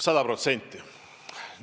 Sada protsenti!